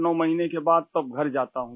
89 महीने के बाद तब घर जाता हूँ